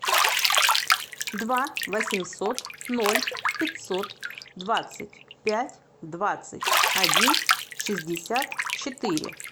два восемьсот ноль пятьсот двадцать пять двадцать один шестьдесят четыре